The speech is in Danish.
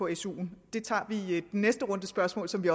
i su’en det tager vi i den næste runde spørgsmål som vi